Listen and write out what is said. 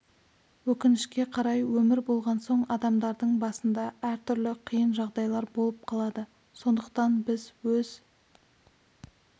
өкінішке қарай өмір болған соң адамдардың басында әр түрлі қиын жағдайлар болып қалады сондықтан біз өз